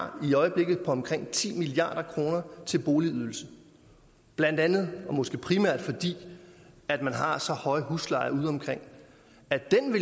har i øjeblikket på omkring ti milliard kroner til boligydelse blandt andet og måske primært fordi at man har så høje huslejer ude omkring